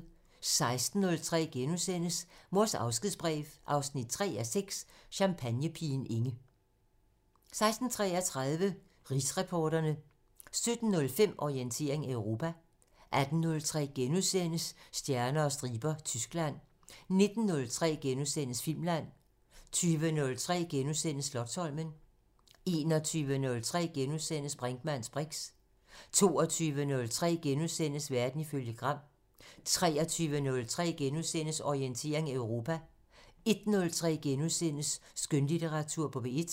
16:03: Mors afskedsbrev 3:6 – Champagnepigen Inge * 16:33: Rigsretsreporterne 17:05: Orientering Europa 18:03: Stjerner og striber – Tyskland * 19:03: Filmland * 20:03: Slotsholmen * 21:03: Brinkmanns briks * 22:03: Verden ifølge Gram * 23:03: Orientering Europa * 01:03: Skønlitteratur på P1 *